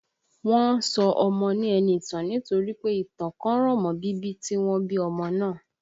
Wọ́n ń sọ ọmọ ní Ẹniìtàn nítorí pé ìtàn kan rọ̀ mọ́ bíbí tí wọ́n bí ọmọ náà